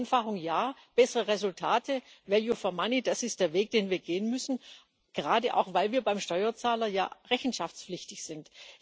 Vereinfachung ja, bessere Resultate, value for money das ist der Weg, den wir gehen müssen, gerade auch weil wir beim Steuerzahler ja rechenschaftspflichtig sind.